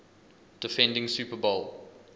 defending super bowl